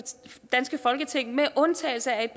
danske folketing med undtagelse af et